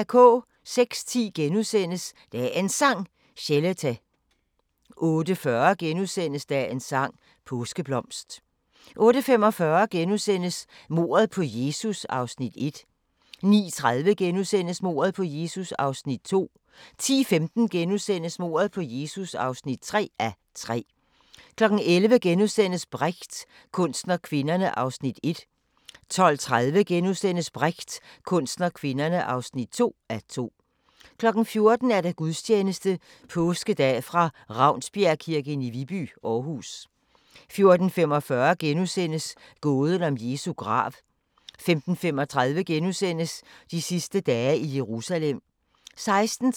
06:10: Dagens Sang: Chelete * 08:40: Dagens sang: Påskeblomst * 08:45: Mordet på Jesus (1:3)* 09:30: Mordet på Jesus (2:3)* 10:15: Mordet på Jesus (3:3)* 11:00: Brecht – kunsten og kvinderne (1:2)* 12:30: Brecht – kunsten og kvinderne (2:2)* 14:00: Gudstjeneste Påskedag fra Ravnsbjergkirken i Viby, Aarhus 14:45: Gåden om Jesu grav * 15:35: De sidste dage i Jerusalem *